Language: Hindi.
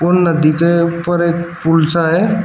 और नदी के ऊपर एक पूल सा है।